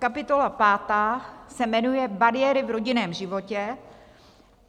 Kapitola pátá se jmenuje Bariéry v rodinném životě.